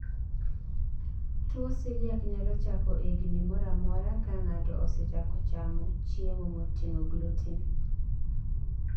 tuwo celiac nyalo chako e higni moramora ka ng'ato osechako chamo chiemo moting'o gluten